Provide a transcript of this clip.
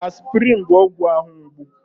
Aspịrịn bụ ọgwụ ahụ mgbu.